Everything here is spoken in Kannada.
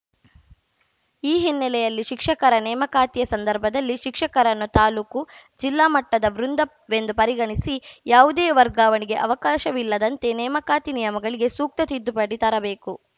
ಈ ಹಿನ್ನೆಲೆಯಲ್ಲಿ ಶಿಕ್ಷಕರ ನೇಮಕಾತಿಯ ಸಂದರ್ಭದಲ್ಲಿ ಶಿಕ್ಷಕರನ್ನು ತಾಲೂಕು ಜಿಲ್ಲಾ ಮಟ್ಟದ ವೃಂದವೆಂದು ಪರಿಗಣಿಸಿ ಯಾವುದೇ ವರ್ಗಾವಣೆಗೆ ಅವಕಾಶವಿಲ್ಲದಂತೆ ನೇಮಕಾತಿ ನಿಯಮಗಳಿಗೆ ಸೂಕ್ತ ತಿದ್ದುಪಡಿ ತರಬೇಕು